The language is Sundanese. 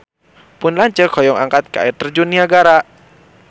Pun lanceuk hoyong angkat ka Air Terjun Niagara